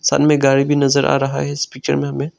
सामने गाड़ी भी नजर आ रहा है इस पिक्चर में हमे।